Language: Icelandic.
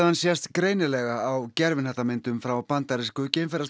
sést greinilega á gervihnattamyndum frá bandarísku